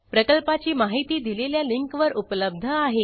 प्रकल्पाची माहिती दिलेल्या लिंकवर उपलब्ध आहे